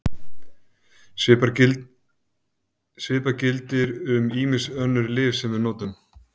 Svipað gildir um ýmis önnur lyf sem við notum.